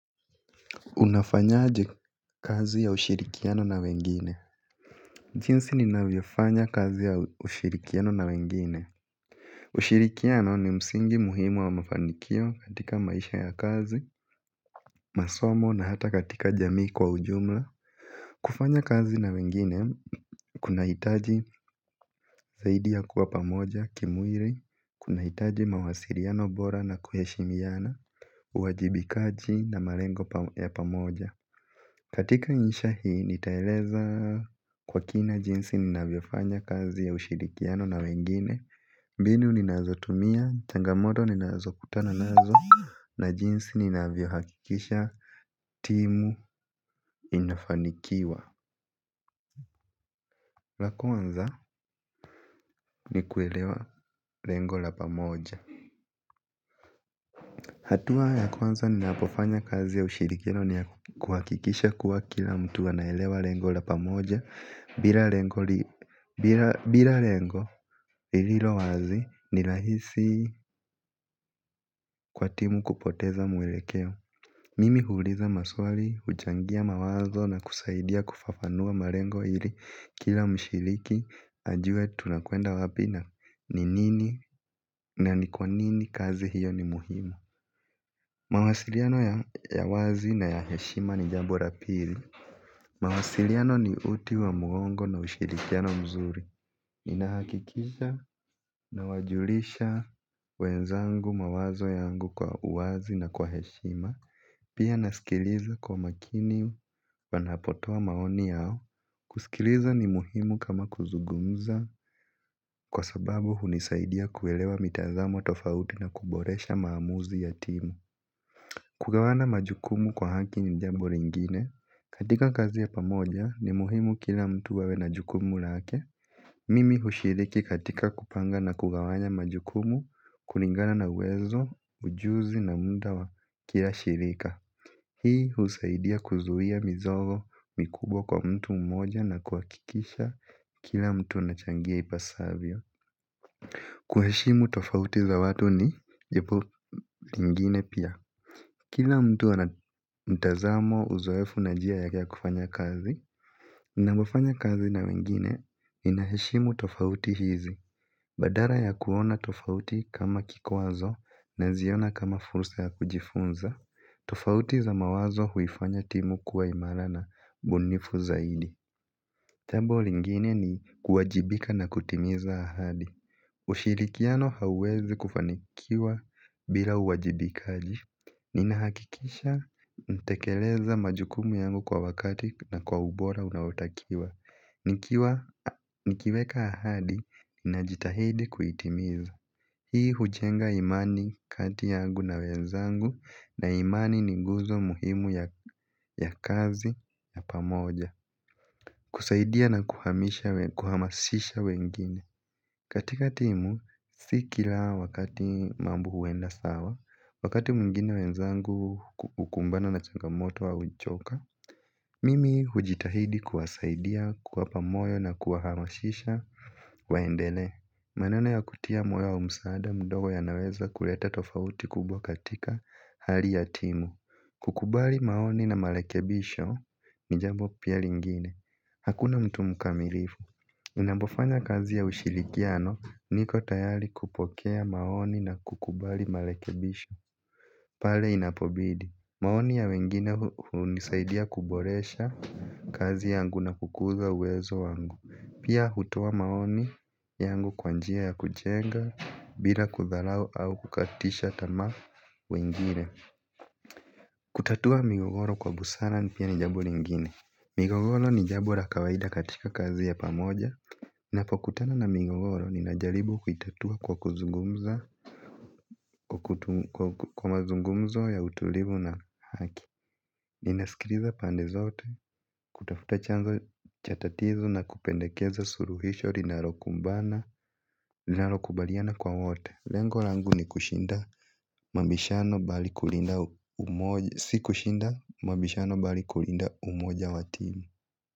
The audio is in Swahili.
Unafanyaje kazi ya ushirikiano na wengine. Jinsi ninavyofanya kazi ya ushirikiano na wengine. Ushirikiano ni msingi muhimu wa mafanikio katika maisha ya kazi, masomo na hata katika jamii kwa ujumla. Kufanya kazi na wengine, kunahitaji zaidi ya kuwa pamoja, kimwili, kuna hitaji mawasiliano bora na kuheshimiana, uwajibikaji na malengo ya pamoja. Katika insha hii nitaeleza kwa kina jinsi ninavyofanya kazi ya ushirikiano na wengine. Mbinu ninazotumia, changamoto ninazokutana nazo na jinsi ninavyohakikisha timu inafanikiwa. La kwanza ni kuelewa lengo la pamoja. Hatua ya kwanza ninapofanya kazi ya ushirikiano ni kuhakikisha kuwa kila mtu anaelewa lengo la pamoja. Bila lengo lililo wazi ni rahisi kwa timu kupoteza mwelekeo. Mimi huuliza maswali, huchangia mawazo na kusaidia kufafanua malengo ili kila mshiriki ajue tunakwenda wapi na ni nini na ni kwa nini kazi hiyo ni muhimu. Mawasiliano ya wazi na ya heshima ni jambu la pili. Mawasiliano ni uti wa mgongo na ushirikiano mzuri. Nina hakikisha nawajulisha wenzangu mawazo yangu kwa uwazi na kwa heshima. Pia nasikiliza kwa makini panapotoa maoni yao. Kusikiliza ni muhimu kama kuzugumza kwa sababu hunisaidia kuelewa mitazamo tofauti na kuboresha maamuzi ya timu. Kugawana majukumu kwa haki ni jambo lingine. Katika kazi ya pamoja ni muhimu kila mtu awe na jukumu lake. Mimi hushiriki katika kupanga na kugawanya majukumu, kulingana na uwezo, ujuzi na muda wa kila shirika. Hii husaidia kuzuia mizigo mikubwa kwa mtu mmoja na kuhakikisha kila mtu anachangia ipasavyo. Kuheshimu tofauti za watu ni jambo lingine pia. Kila mtu ana mtazamo uzoefu na njia ya kufanya kazi. Na kufanya kazi na wengine inaheshimu tofauti hizi. Badala ya kuona tofauti kama kikwazo naziona kama fursa ya kujifunza. Tofauti za mawazo huifanya timu kuwa imara na ubunifu zaidi. Jambo lingine ni kuwajibika na kutimiza ahadi. Ushirikiano hauwezi kufanikiwa bila uwajibika. Nina hakikisha natekeleza majukumu yangu kwa wakati na kwa ubora unaotakiwa. Nikiweka ahadi na jitahidi kuitimiza. Hii hujenga imani kati yangu na wenzangu na imani ni nguzo muhimu ya kazi na pamoja. Kusaidia na kuhamasisha wengine. Katika timu, si kila wakati mambo huenda sawa. Wakati mwingine wenzangu hukumbana na changamoto au huchoka. Mimi hujitahidi kuwasaidia kuwapa moyo na kuwaharashisha waendelee. Maneno ya kutia moyo wa msaada mdogo yanaweza kuleta tofauti kubwa katika hali ya timu. Kukubali maoni na marekebisho ni jambo pia lingine. Hakuna mtu mkamilifu. Napofanya kazi ya ushirikiano niko tayari kupokea maoni na kukubali marekebisho. Pale inapobidi. Maoni ya wengine hunisaidia kuboresha kazi yangu na kukuza uwezo wangu. Pia hutoa maoni yangu kwa njia ya kujenga bila kudharau au kukatisha tamaa wengine. Kutatua migogoro kwa busara ni pia ni jambo lingine. Migogoro ni jambo la kawaida katika kazi ya pamoja. Napokutana na migogoro, ninajaribu kuitatua kwa kuzungumza kwa mazungumzo ya utulivu na haki. Ninasikiliza pande zote, kutafuta chanzo cha tatizo na kupendekeza suluhisho, linalo kumbana, linalokubaliana kwa wote. Lengo langu ni kushinda mabishano bali kulinda umoja, si kushinda mabishano bali kulinda umoja wa tili.